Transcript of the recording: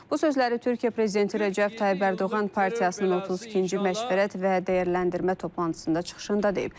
Bu sözləri Türkiyə prezidenti Rəcəb Tayyib Ərdoğan partiyasının 32-ci məşvərət və dəyərləndirmə toplantısında çıxışında deyib.